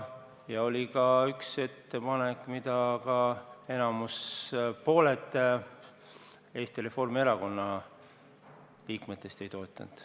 Ja oli ka üks ettepanek, mida ka pooled Eesti Reformierakonna liikmetest ei toetanud.